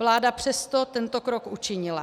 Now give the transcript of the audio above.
Vláda přesto tento krok učinila.